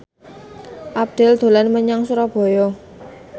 Abdel dolan menyang Surabaya